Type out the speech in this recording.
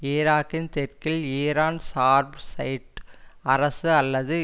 ஈராக்கின் தெற்கில் ஈரான் சார்பு ஷைட் அரசு அல்லது